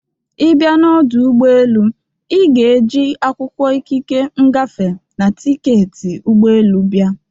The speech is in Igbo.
Ịbịa n'ọdụ ụgbọ elu, ị ga e ji akwụkwọ ikike ngafe na tiketi ụgbọ elu bịa.